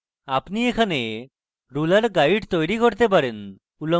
আপনি এখানে ruler guides তৈরী করতে পারেন